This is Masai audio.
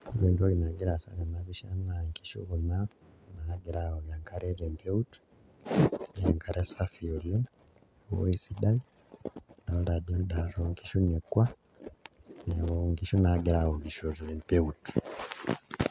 Ore entoki nagira aasa tena pisha naa inkishu kuna naagira aawok enkare te mpeut, enkare safi oleng', ewoi sidai, adolta ajo ndaat oo nkishu nekua, neeku inkishu naagira aawokisho te mpeut.